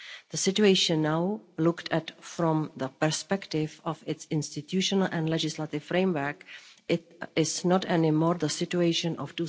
The situation now, looked at from the perspective of its institutional and legislative framework, is no longer the situation of